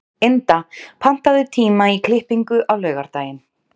Ynda, pantaðu tíma í klippingu á laugardaginn.